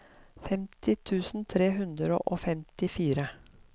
femti tusen tre hundre og femtifire